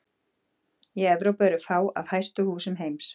Í Evrópu eru fá af hæstu húsum heims.